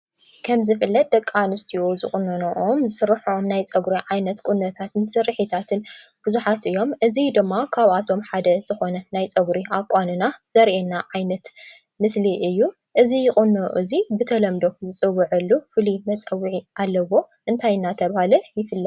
ከምቲ ዝፍለጥ ደቂ ኣነስትዮ ዝቑነንኖኦን ዝስርሐኦን ፀጉሪ ዓይነት ቁኖን ስርሒታትን ብዙሓት እዮም፡፡ እዚ ድማ ካብኣቶም ሓደ ዝኾነ ናይ ፀጉሪ ኣቋንና ዘርእየና ዓይነት ምስሊ እዩ፡፡ እዚ ቁኖ እዚ ብተለምዶ ዝፅወዓሉ ፍሉይ መፀውዒ ኣለዎ፡፡ እንታይ እናተባህለ ይፍለጥ?